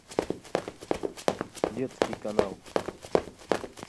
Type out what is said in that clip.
детский канал